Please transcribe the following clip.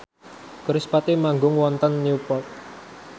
kerispatih manggung wonten Newport